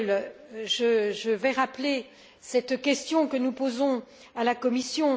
Reul, je vais rappeler cette question que nous posons à la Commission.